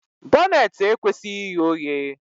Bọneetị ekwesịghị ighe oghe